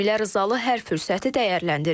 Cəmilə Rızalı hər fürsəti dəyərləndirib.